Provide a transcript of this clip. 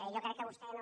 jo crec que vostè no